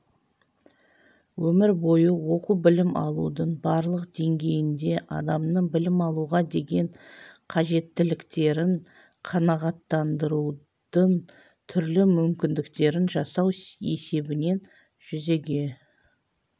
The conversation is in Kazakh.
өмір бойы оқу білім алудың барлық деңгейінде адамның білім алуға деген қажеттіліктерін қанағаттандырудың түрлі мүмкіндіктерін жасау есебінен жүзеге